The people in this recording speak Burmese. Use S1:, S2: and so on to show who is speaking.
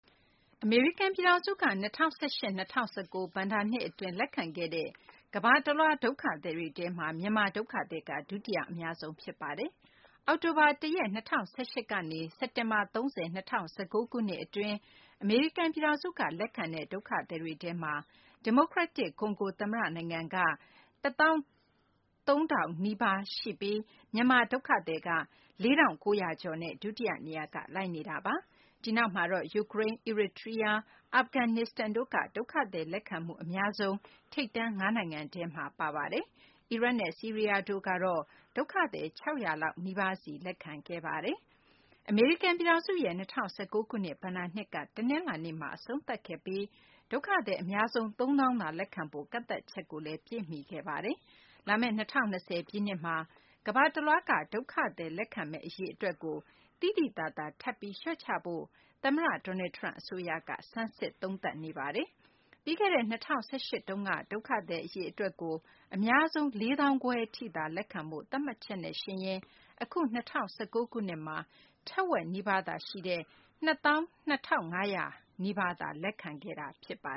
S1: အမေရိကန် ပြည်ထောင်စုက ၂၀၁၈ - ၂၀၁၉ ဘဏ္ဍာနှစ် အတွင်း လက်ခံခဲ့တဲ့ ကမ္ဘာတလွှားက ဒုက္ခသည်တွေထဲမှာ မြန်မာ ဒုက္ခသည်က ဒုယတိ အများဆုံး ဖြစ်ပါတယ်။ အောက်တိုဘာလ ၁ ရက် ၂၀၁၈ ခုနှစ်ကနေ စက်တင်ဘာလ ၃၀ ၂၀၁၉ ခုနှစ် အတွင်း အမေရိကန် ပြည်ထောင်စုက လက်ခံခဲ့တဲ့ ဒုက္ခသည်တွေထဲမှာ ဒီမိုကရက်တစ် ကွန်ဂို သမ္မတ နိုင်ငံက ဒုက္ခသည် ၁၃၀၀၀ နီးပါးကို လက်ခံခဲ့ပြီး မြန်မာ ဒုက္ခသည်က ၄၉၃၂ ဦးနဲ့ ဒုတိယ နေရာက လိုက်နေတာပါ။ ဒီနောက်မှာတော့ ယူကရိန်း၊ အီရီတြီးယား၊ အာဖဂန်နစ္စတန်တို့က ဒုက္ခသည် လက်ခံမှု အများဆုံး ထိပ်တန်း ၅ နိုင်ငံထဲမှာ ပါဝင်ခဲ့ပါတယ်။ အီရတ်နဲ့ ဆီးရီးယားတို့ကတော့ ဒုက္ခသည် ၆၀၀ လောက် နီးပါးစီ လက်ခံခဲ့ပါတယ်။ အမေရိကန် ပြည်ထောင်စုရဲ့ ၂၀၁၉ ခုနှစ် ဘဏ္ဍာနှစ်က တနလာၤနေ့မှာ အဆုံးသတ်ခဲ့ပြီး ဒုက္ခသည် အများဆုံး ၃၀၀၀၀ သာ လက်ခံဖို့ ကန့်သတ်ချက်လည်း ပြည့်မီခဲ့ပါတယ်။ လာမယ့် ၂၀၂၀ ပြည့်နှစ်မှာလည်း ကမ္ဘာတလွှားက ဒုက္ခသည်တွေ လက်ခံမယ့် အရေအတွက်ကို သိသိသာသာ ထပ်ပြီး လျှော့ချဖို့ သမ္မတ Donald Trump အစိုးရက ဆန်းစစ်နေပါတယ်။ ပြီးခဲ့တဲ့ ၂၀၁၈ တုန်းကတော့ ဒုက္ခသည် အရေအတွက်ကို အများဆုံး ၄၅၀၀၀ ထိသာ လက်ခံဖို့ သတ်မှတ်ချက်နဲ့ယှဉ်ရင်တော့ အခု ၂၀၁၉ ခုနှစ်မှ ထက်ဝက်နီးပါးသာ ရှိတဲ့ ၂၂၄၉၁ ဦးသာ လက်ခံခဲ့တာပါ